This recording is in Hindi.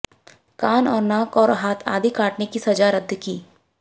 कान और नाक और हाथ आदि काटने की सजा रद्द कीं